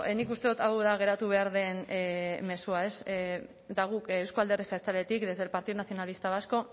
nik uste dut hau da geratu behar den mezua ez eta guk euzko alderdi jeltzaletik desde el partido nacionalista vasco